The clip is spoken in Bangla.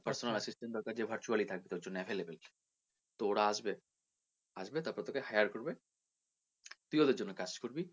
personal assistant দরকার যে তোর virtually থাকবে তোর জন্য available তো ওরা আসবে আসবে তারপরে তোকে hire করবে তুই ওদের জন্যে কাজ করবি